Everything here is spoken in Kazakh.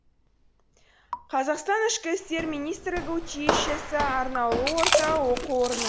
қазақстан ішкі істер министрлігі училищесі арнаулы орта оқу орны